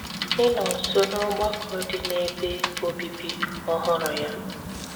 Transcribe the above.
ịnọ̀ nso n’ọ̀gbàkọ̀ dị n’ebe obibì ọhụrụ̀ ya.